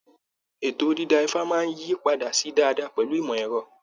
Ètò dìda ifa máa yí padà sí dáadáa pẹlu ìmọ̀ ẹ̀rọ.